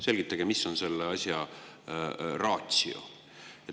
Selgitage, mis on selle asja ratio.